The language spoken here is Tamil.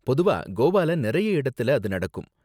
பொதுவா கோவால நிறைய இடத்துல அது நடக்கும்.